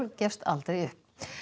gefst aldrei upp